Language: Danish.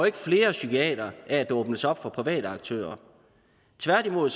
ikke flere psykiatere af at der åbnes op for private aktører tværtimod